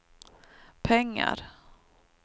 pengar